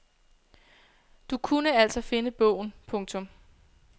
Du kunne altså finde bogen. punktum